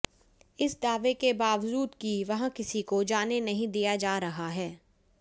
इस दावे के बावजूद कि वहां किसी को जाने नहीं दिया जा रहा है